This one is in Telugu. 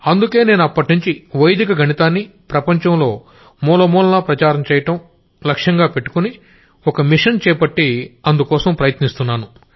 అందుకే నేను అప్పట్నుంచీ వైదిక గణితాన్ని ప్రపంచంలో మూలమూలలా ప్రచారం చెయ్యడం అనే ఓ మిషన్ కి చేపట్టి అందుకోసం ప్రయత్నిస్తున్నాను